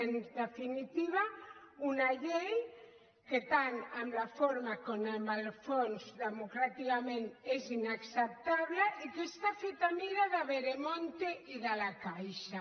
en definitiva una llei que tant en la forma com en el fons democràticament és inacceptable i que està feta a mida de veremonte i de la caixa